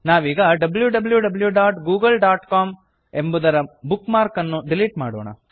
ನಾವೀಗ wwwgooglecom W W W dot Google dot com ಎಂಬುದರ bookmark ಅನ್ನು delete ಮಾಡೋಣ